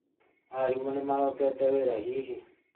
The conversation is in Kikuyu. Arimũ nĩ maokete wĩra hihi?